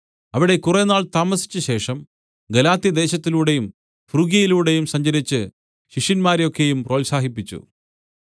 അവിടെ കുറേനാൾ താമസിച്ചശേഷം പുറപ്പെട്ട് ഗലാത്യദേശത്തിലൂടെയും ഫ്രുഗ്യയിലൂടെയും സഞ്ചരിച്ച് ശിഷ്യന്മാരെ ഒക്കെയും പ്രോത്സാഹിപ്പിച്ചു